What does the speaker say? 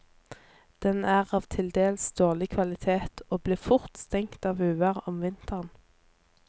Den er av til dels dårlig kvalitet, og blir fort stengt av uvær om vinteren.